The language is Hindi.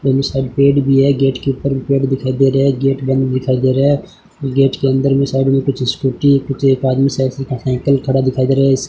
दोनों साइड पेड़ भी है गेट के ऊपर पेड़ दिखाई दे रहा है गेट बंद दिखाई दे रहा है गेट के अंदर में सारी कुछ स्कूटी कुछ एक आदमी साइकिल पर साइकिल खड़ा दिखाई दे रहा है।